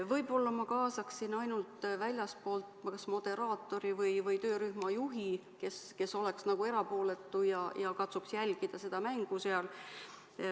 Võib-olla ma kaasaksin väljastpoolt ainult moderaatori või töörühma juhi, kes oleks erapooletu ja katsuks jälgida mängu.